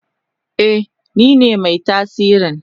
Eh nine mai tasiri.